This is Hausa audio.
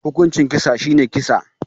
Hukuncin kisa shine kisa